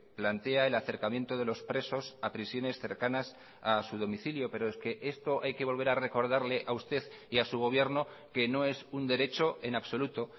plantea el acercamiento de los presos a prisiones cercanas a su domicilio pero es que esto hay que volver a recordarle a usted y a su gobierno que no es un derecho en absoluto